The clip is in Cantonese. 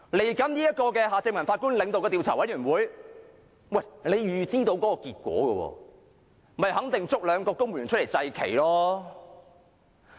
接下來，前法官夏正民領導的調查委員會，其實大家已能預知結果，肯定便是推兩個公務員出來"祭旗"。